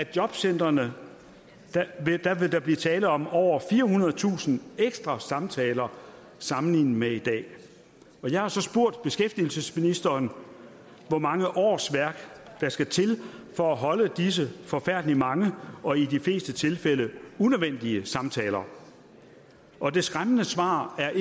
jobcentrene vil blive tale om over firehundredetusind ekstra samtaler sammenlignet med i dag jeg har så spurgt beskæftigelsesministeren hvor mange årsværk der skal til for at holde disse forfærdelig mange og i de fleste tilfælde unødvendige samtaler og det skræmmende svar er